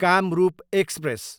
Kamrup express